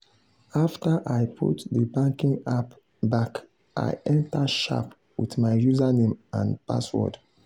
after i put the banking app back i enter sharp with my username and password.